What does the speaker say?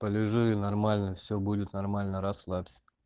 полежи и нормально все будет нормально расслабься